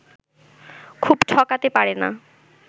খুব ঠকাতে পারে না